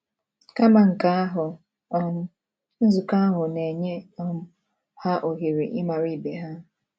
Kama nke ahụ, um nzukọ ahụ na - enye um ha ohere ịmara ibe ha.